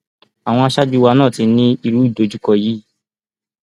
àwọn aṣáájú wa náà ti ní irú ìdojúkọ yìí